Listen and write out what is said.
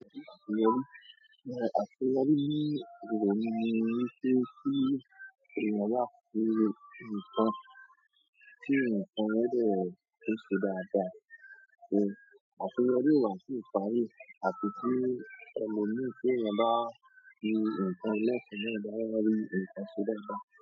Àṣeyọrí ni ohun ni wípé kí èèyàn o bá ṣe ǹkan, kí ǹkan yẹn dé ṣẹda da so aṣọ wabi wa si parí àti ti ohun ni pé o bá fi ǹkan ilé fún o bá rí nǹkan ṣe dáadáa.